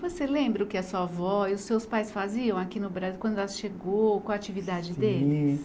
Você lembra o que a sua avó e os seus pais faziam aqui no Bra, quando ela chegou, qual a atividade deles? Sim